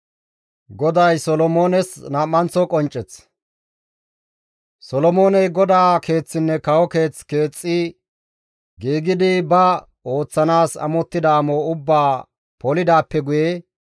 Solomooney GODAA Keeththinne kawo keeth keexxi giigidi ba ooththanaas amottida amo ubbaa polidaappe guye,